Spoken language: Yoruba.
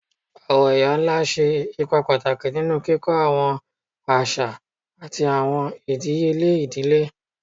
Awọn iya-nla ṣe ipa pataki ninu kikọ awọn aṣa ati awọn idiyele idile